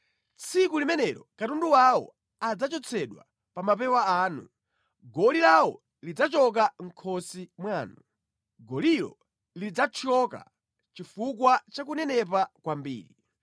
Tsiku limenelo katundu wawo adzachotsedwa pa mapewa anu, goli lawo lidzachoka mʼkhosi mwanu; golilo lidzathyoka chifukwa cha kunenepa kwambiri.